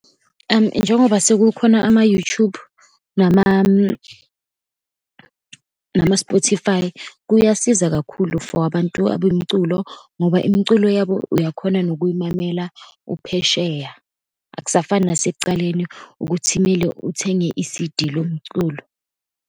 Njengoba sekukhona ama-YouTube, nama-Spotify, kuyasiza kakhulu for abantu abemiculo, ngoba imiculo yabo uyakhona nokuyimamela uphesheya, akusafani nasekucaleni ukuthi kumele uthenge i-C_D lomculo.